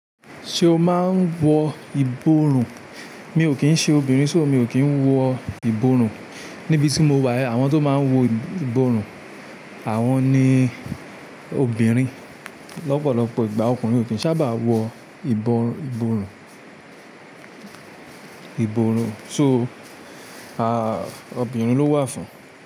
Ṣé o máa ń wọ ìborùn? Mi ò kí ń ṣe obìnrin ṣó mi ò kí ń wọ ìborùn. Nibi tí mo wà, àwọn tó máa ń wọ ìborùn, àwọn ni obìnrin. Lọ́pọ̀lọ́pọ̀ ìgbà, ọkùnrin ò kí ń sábà wọ ìborùn, ìborùn ṣó obìnrin ló wà fún un.